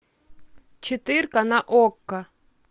четыре ка на окко